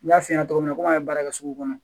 N y'a f'i ɲɛna cogo min na ko an ye baara kɛ sugu kɔnɔ